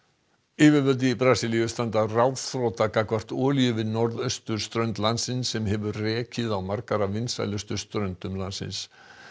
yfirvöld í Brasilíu standa ráðþrota gagnvart olíuleka við norðausturströnd landsins sem hefur rekið á margar af vinsælustu ströndum landsins